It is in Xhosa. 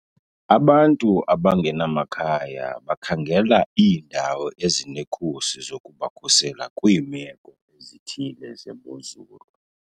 Abantu abangenamakhaya bakhangela iindawo ezinekhusi zokubakhusela kwiimeko ezithile zemozulu.